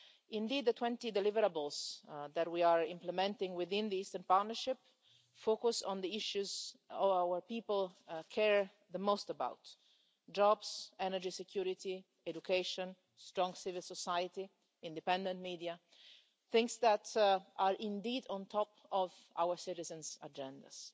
Indeed, the 20 deliverables that we are implementing within the Eastern Partnership focus on the issues our people care the most about jobs, energy security, education, strong civil society, independent media things that are indeed on top of our citizens' agendas.